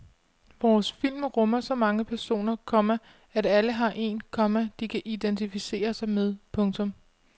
Vores film rummer så mange personer, komma at alle har en, komma de kan identificere sig med. punktum